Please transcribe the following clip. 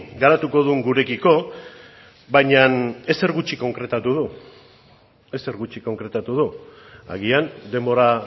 garatuko duen gurekiko baina ezer gutxi konkretatu du ezer gutxi konkretatu du agian denbora